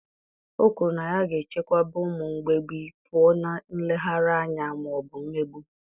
O kwuru na ya ga-echebekwa ụmụ mgbei pụọ na nleghara anya ma ọ bụ mmegbu.